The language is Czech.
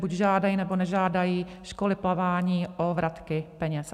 Buď žádají, nebo nežádají školy plavání o vratky peněz.